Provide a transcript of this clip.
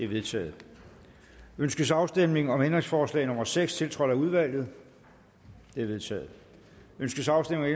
vedtaget ønskes afstemning om ændringsforslag nummer seks tiltrådt af udvalget det er vedtaget ønskes afstemning